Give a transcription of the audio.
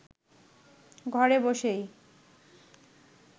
ঘরে বসেই